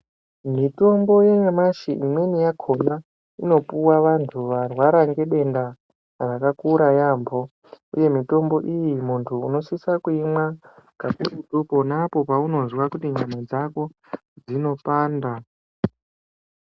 Mitombo yanyamashi imweni yakhona inopuwa vantu varwara ngedenda rakakura yaampo uye mitombo iyi unosisa kuimwa kakurutu pona paunozwa kuti nyama dzako dzinopanda.